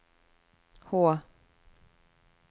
H